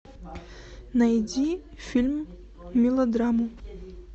найди фильм мелодраму